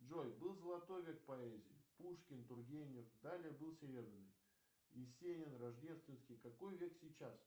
джой был золотой век поэзии пушкин тургенев далее был серебряный есенин рождественский какой век сейчас